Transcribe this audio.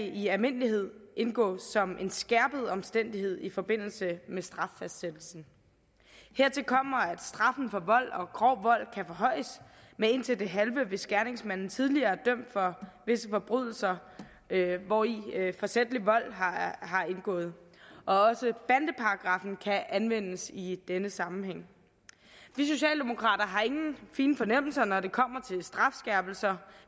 i almindelighed indgå som en skærpende omstændighed i forbindelse med straffastsættelsen hertil kommer at straffen for vold og grov vold kan forhøjes med indtil det halve hvis gerningsmanden tidligere er dømt for visse forbrydelser hvori forsætlig vold har indgået også bandeparagraffen kan anvendes i denne sammenhæng vi socialdemokrater har ingen fine fornemmelser når det kommer til strafskærpelser